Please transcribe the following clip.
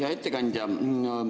Hea ettekandja!